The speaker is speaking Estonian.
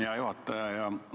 Hea juhataja!